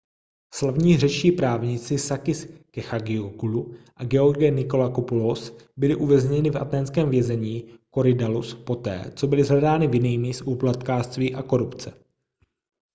slavní řečtí právníci sakis kechagioglou a george nikolakopoulos byli uvězněni v athénském vězení korydallus poté co byli shledáni vinnými z úplatkářství a korupce